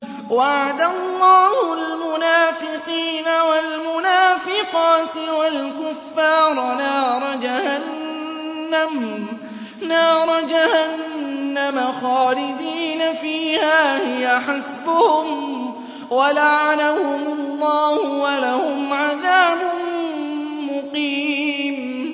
وَعَدَ اللَّهُ الْمُنَافِقِينَ وَالْمُنَافِقَاتِ وَالْكُفَّارَ نَارَ جَهَنَّمَ خَالِدِينَ فِيهَا ۚ هِيَ حَسْبُهُمْ ۚ وَلَعَنَهُمُ اللَّهُ ۖ وَلَهُمْ عَذَابٌ مُّقِيمٌ